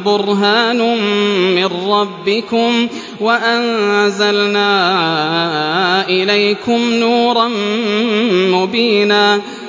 بُرْهَانٌ مِّن رَّبِّكُمْ وَأَنزَلْنَا إِلَيْكُمْ نُورًا مُّبِينًا